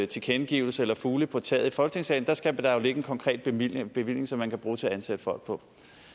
tilkendegivelser eller fugle på taget i folketingssalen der skal der jo ligge en konkret bevilling bevilling som man kan bruge til at ansætte folk på